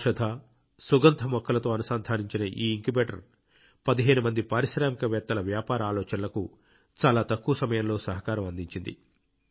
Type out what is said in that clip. ఔషధ సుగంధ మొక్కలతో అనుసంధానించిన ఈ ఇంక్యుబేటర్ 15 మంది పారిశ్రామికవేత్తల వ్యాపార ఆలోచనలకు చాలా తక్కువ సమయంలో సహకారం అందించింది